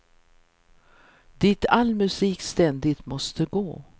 Dit all musik ständigt måste gå.